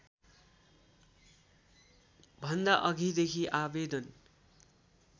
भन्दा अघिदेखि आवेदन